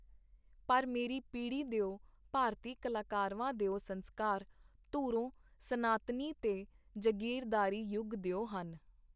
ਪਰ ਮੇਰੀ ਪੀੜ੍ਹੀ ਦਿਓ ਭਾਰਤੀ ਕਲਾਕਰਵਾਂ ਦਿਓ ਸੰਸਕਾਰ ਧੁਰੋਂ ਸਨਾਤਨੀ ਤੇ ਜਗੀਰਦਾਰੀ ਯੁਗ ਦਿਓ ਹਨ.